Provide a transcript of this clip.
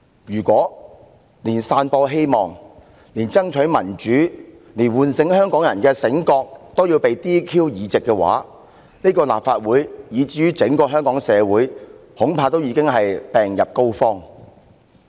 "如果連散播希望、連爭取民主、連喚醒香港人也要被取消議席的話，則恐怕立法會以至整個香港社會已經病入膏肓了。